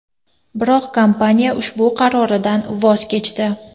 Biroq kompaniya ushbu qaroridan voz kechdi.